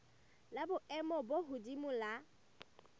la boemo bo hodimo la